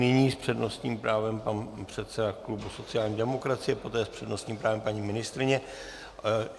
Nyní s přednostním právem pan předseda klubu sociální demokracie, poté s přednostním právem paní ministryně.